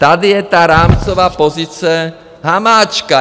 Tady je ta rámcová pozice Hamáčka!